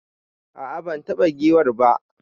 A'a ban taba giwar ba.